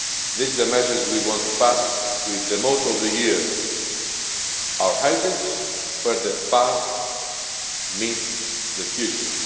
This is the message we want to pass on, with the motto of the year our heritage where the past meets the future'.